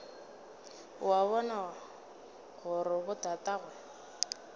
o a bona gore botatagwe